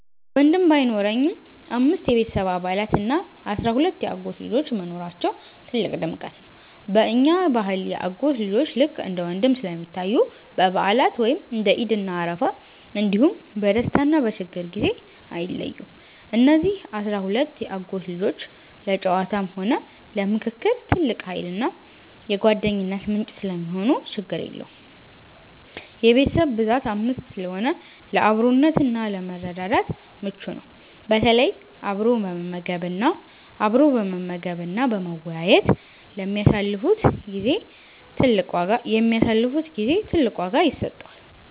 ወንድም ባይኖረኝም፣ አምስት የቤተሰብ አባላት እና አሥራ ሁለት የአጎት ልጆች መኖራቸው ትልቅ ድምቀት ነው። በእኛ ባህል የአጎት ልጆች ልክ እንደ ወንድም ስለሚታዩ፣ በበዓላት (እንደ ዒድ እና አረፋ) እንዲሁም በደስታና በችግር ጊዜ አይለዩም። እነዚህ አሥራ ሁለት የአጎት ልጆች ለጨዋታም ሆነ ለምክክር ትልቅ ኃይልና የጓደኝነት ምንጭ ሰለሚሆኑ ችግር የለውም። የቤተሰብ ብዛት 5 ስለሆነ ለአብሮነትና ለመረዳዳት ምቹ ነው፤ በተለይ አብሮ በመመገብና በመወያየት ለሚያሳልፉት ጊዜ ትልቅ ዋጋ ይሰጠዋል።